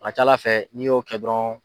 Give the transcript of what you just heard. A ka c'Ala fɛ n'i y'o kɛ dɔrɔn